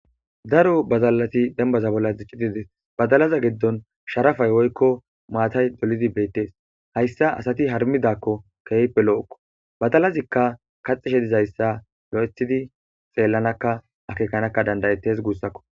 Daro bazaalati denbaza bolla ziccididis badalaza giddon sharafay woykko maatay dolidi beettees hayssa asati harmidakko keehpe lo'okko badalazikka kaxishe dizayssa lo’ethidi seellanakka akeekanakka dandayettes guussakko.